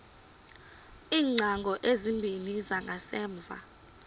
iingcango ezimbini zangasemva